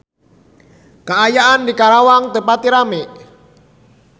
Kaayaan di Karawang teu pati rame